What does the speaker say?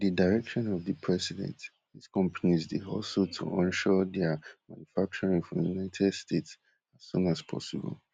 wit di direction of di president dis companies dey hustle to onshore dia manufacturing for united states as soon as possible